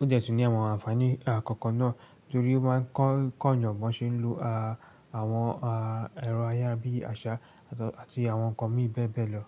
Ó dẹ̀ tun ní àwọn ànfàní, a, kankan náà torí ó máa ń kọ́, kọ́ èèyàn mọ bí ṣe ń lo, a, àwọn, a, ẹ̀rọ ayárabíàṣá àti àwọn ǹkan mìíràn bẹ́ẹ̀ bẹ́ẹ̀ lọ.